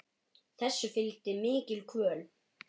Þessu fylgdi mikil kvöl.